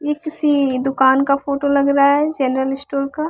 ये किसी दुकान का फोटो लग रहा है जनरल स्टोर का।